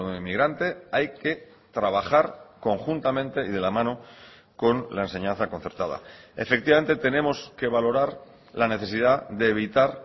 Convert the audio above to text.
inmigrante hay que trabajar conjuntamente y de la mano con la enseñanza concertada efectivamente tenemos que valorar la necesidad de evitar